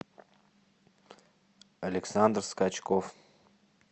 александр скачков